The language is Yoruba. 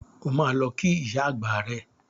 O máa lọ kí ìyá àgbà rẹ.